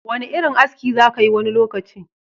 Wani irin aski za kayi wani lokaci?